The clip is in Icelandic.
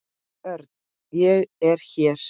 Örn, ég er hér